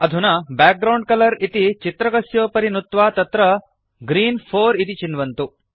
अधुना background colour इति चित्रकस्योपरि नुत्वा तत्र ग्रीन् 4 इति चिन्वन्तु